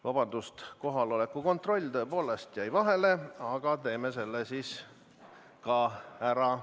Vabandust, kohaloleku kontroll tõepoolest jäi vahele, teeme selle siis ka ära.